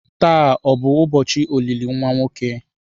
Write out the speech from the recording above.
Taa ọ bụ ụbọchị olili nwa nwoke?